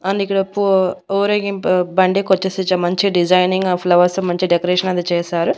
And ఇక్కడ పూ ఊరేగింపు బండి కొంచ సేపు మంచి డిజైనింగ్ ఆ ఫ్లవర్స్ మంచి డెకరేషన్ అది చేశారు.